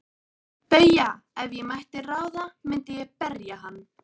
BAUJA: Ef ég mætti ráða myndi ég berja hann.